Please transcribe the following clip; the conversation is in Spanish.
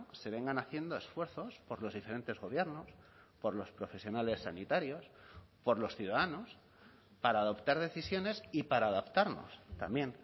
se vengan haciendo esfuerzos por los diferentes gobiernos por los profesionales sanitarios por los ciudadanos para adoptar decisiones y para adaptarnos también